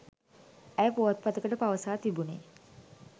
ඇය පුවත්පතකට පවසා තිබුනේ